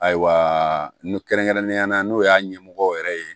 Ayiwa n kɛrɛnen yala n'o y'a ɲɛmɔgɔw yɛrɛ ye